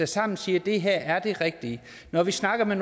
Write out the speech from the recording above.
sammen siger at det her er det rigtige når vi snakker med